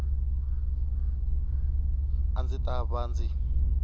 a ndzi ta va ndzi